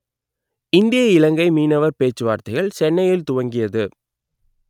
இந்திய இலங்கை மீனவர் பேச்சுவார்த்தைகள் சென்னையில் துவங்கியது